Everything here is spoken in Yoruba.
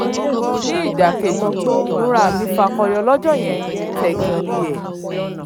ní ìdàkejì ìmúra mi fakọyọ lọ́jọ́ yẹn tẹ́gàn ní hẹ́ẹ̀